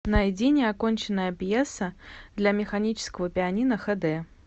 найди неоконченная пьеса для механического пианино эйч ди